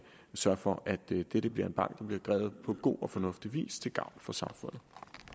sørge for at dette dette bliver en bank der bliver drevet på god og fornuftig vis til gavn for samfundet